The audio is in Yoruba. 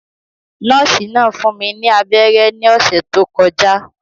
Nọ́ọ̀sì náà fún mi ní abẹ́rẹ́ ní ọ̀sẹ̀ tó kọjá